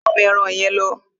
Lẹ́ àwọn eran yẹn lọ!